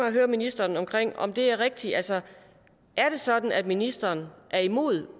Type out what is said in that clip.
at høre ministeren om det er rigtigt altså er det sådan at ministeren er imod